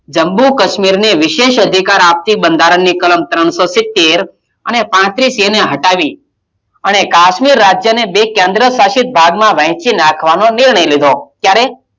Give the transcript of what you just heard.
જમ્મુ -કાશ્મીર ને વિશેષ અધિકાર આપતી બંધારણની કલમ ત્રણશો સિત્તેર અને પાત્રીસ એ ને હટાવી અને કાશ્મીર રાજ્ય ને બે કેન્દ્ર્શાસિત ભાગમાં વહેચી નાખવાનો નિર્ણય લીધો. ત્યારે,